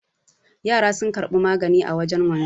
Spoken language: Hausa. Yara sun karbi magani a wajen wanzan